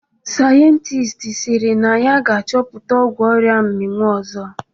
Sayentist sịrị na ya ga-achọpụta ọgwụ oria mminwụ ọzọ